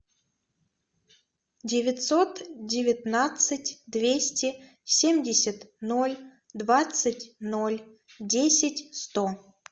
девятьсот девятнадцать двести семьдесят ноль двадцать ноль десять сто